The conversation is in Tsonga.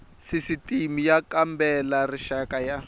sisitimi y kambela rixaka ya